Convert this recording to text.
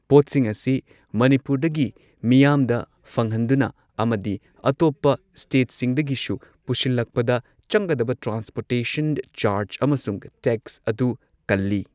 ꯄꯣꯠꯁꯤꯡ ꯑꯁꯤ ꯃꯅꯤꯄꯨꯔꯗꯒꯤ ꯃꯤꯌꯥꯝꯗ ꯐꯪꯍꯟꯗꯨꯅ ꯑꯃꯗꯤ ꯑꯇꯣꯞꯄ ꯁ꯭ꯇꯦꯠꯁꯤꯡꯗꯒꯤꯁꯨ ꯄꯨꯁꯤꯜꯂꯛꯄꯗ ꯆꯪꯒꯗꯕ ꯇ꯭ꯔꯥꯟꯁꯄꯣꯔꯇꯦꯁꯟ ꯆꯥꯔꯖ ꯑꯃꯁꯨꯡ ꯇꯦꯛꯁ ꯑꯗꯨ ꯀꯜꯂꯤ꯫